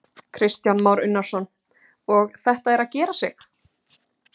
Kristján Már Unnarsson: Og þetta er að gera sig?